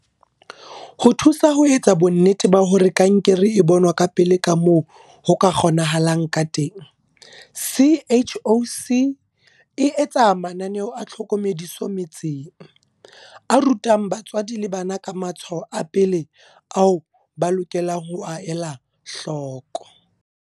Ho thusa ho etsa bonnete ba hore kankere e bonwa ka pele kamoo ho ka kgonehang ka teng, CHOC e etsa mananeo a tlhokomediso metseng, a rutang batswadi le bana ka matshwao a pele ao ba lokelang ho a ela hloko.